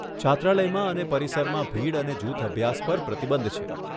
છાત્રાલયમાં અને પરિસરમાં ભીડ અને જૂથ અભ્યાસ પર પ્રતિબંધ છે.